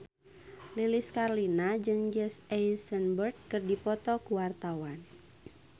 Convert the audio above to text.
Lilis Karlina jeung Jesse Eisenberg keur dipoto ku wartawan